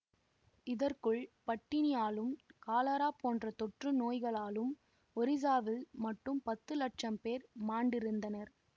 இதற்குள் பட்டினியாலும் காலரா போன்ற தொற்று நோய்களாலும் ஒரிசாவில் மட்டும் பத்து லட்சம் பேர் மாண்டிருந்தனர்